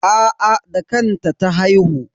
Aa da kanta ta haihu.